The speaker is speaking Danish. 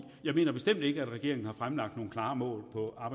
ikke er regeringen har fremlagt nogle meget klare mål